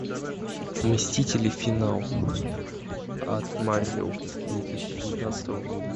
мстители финал от марвел две тысячи девятнадцатого года